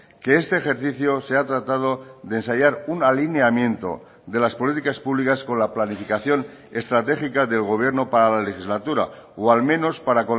que este ejercicio se ha tratado de ensayar un alineamiento de las políticas públicas con la planificación estratégica del gobierno para la legislatura o al menos para